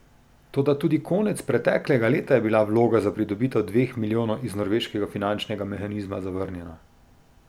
Toda tudi konec preteklega leta je bila vloga za pridobitev dveh milijonov iz norveškega finančnega mehanizma zavrnjena.